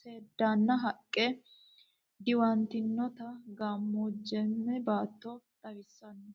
seedanna haqqenni diwantinottaa gamoojaame baato xawissanno.